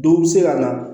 Dɔw bɛ se ka na